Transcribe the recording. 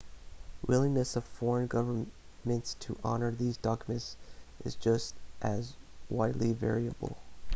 willingness of foreign governments to honour these documents is just as widely variable